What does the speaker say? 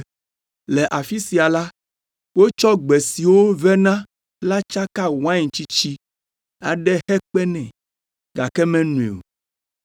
Le afi sia la, wotsɔ gbe siwo vena la tsaka wain tsitsi aɖe hekpe nɛ, gake menoe o.